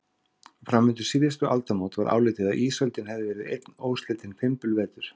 Fram undir síðustu aldamót var álitið að ísöldin hefði verið einn óslitinn fimbulvetur.